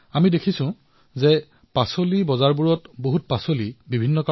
আমি সকলোৱে দেখা পাইছো যে শাকপাচলিৰ বজাৰত বহু সামগ্ৰী নষ্ট হয়